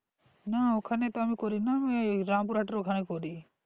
না ওখানে তো আমি করিনা ওই রামপুরহাটের এর ওখান করি